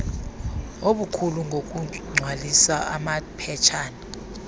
okukhulu ngokugcwalisa amaphetshana